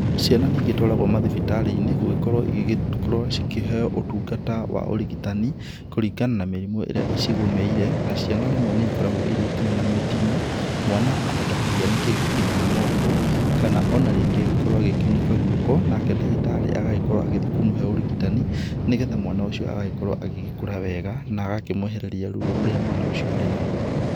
Ciana nĩ igĩtwaragwo mathibitarĩ-inĩ gũgĩkoro igĩkorwo cikĩheyo ũtungata wa ũrigitani, kũringana na mĩrimũ ĩrĩa ĩcigũmĩire na ciana rĩmwe nĩ ikoragwo irĩ nginya na mĩtino. Mwana ahota kũhĩa nĩ kĩndũ kĩhiũ moko, kana o na rĩngĩ agĩkorwo agĩkiunĩka guoko, nake ndagĩtarĩ agagĩkorwo agĩthiĩ kũmũhe ũrigitani, nĩgetha mwana ũcio agagĩkorwo agĩkũra wega, na agakĩmwehereria ruo rũrĩa mwana ũcio arĩ naguo.